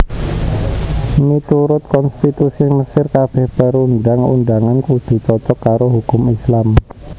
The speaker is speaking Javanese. Miturut konstitusi Mesir kabèh perundang undangan kudu cocok karo hukum Islam